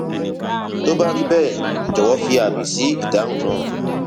tó bá rí bẹẹ jọwọ fi àmì sí ìdáhùn náà